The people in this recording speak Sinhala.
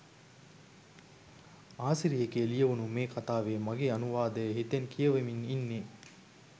ආසිරි එකේ ලියවුනු මේ කතාවේ මගේ අනුවාදය හිතෙන් කියවමින් ඉන්නේ.